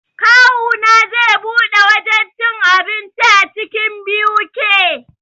Kawuna zai buɗe wajen cin abinci a cikin BUK